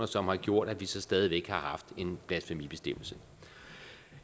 som har gjort at vi så stadig væk har haft en blasfemibestemmelse